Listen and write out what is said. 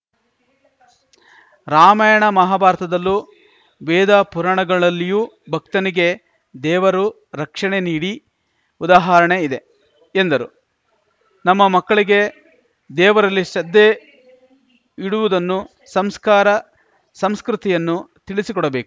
ರಾಮಾಯಣ ಮಹಾಭಾರತದಲ್ಲೂ ವೇದ ಪುರಾಣಗಳಲ್ಲಿಯೂ ಭಕ್ತನಿಗೆ ದೇವರು ರಕ್ಷಣೆ ನೀಡಿ ಉದಾಹರಣೆ ಇದೆ ಎಂದರು ನಮ್ಮ ಮಕ್ಕಳಿಗೂ ದೇವರಲ್ಲಿ ಶ್ರದ್ಧೆ ಇಡುವುದನ್ನು ಸಂಸ್ಕಾರ ಸಂಸ್ಕೃತಿಯನ್ನು ತಿಳಿಸಿಕೊಡಬೇಕ್